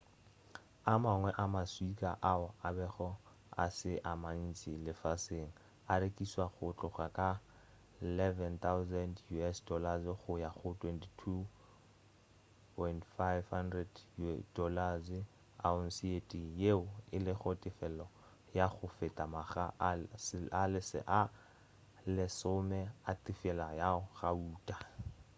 a mangwe a ma swika ao a bego a se a mantši lefaseng a rekišwa go tloga ka us$11,000 go ya go $22,500 ounce ye tee yeo e lego tefelo ya go feta makga a lesome a tefelo ya gauta